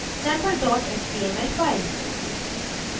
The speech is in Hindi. sample dot html file